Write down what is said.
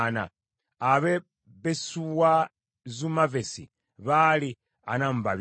ab’e Besuwazumavesi baali amakumi ana mu babiri (42),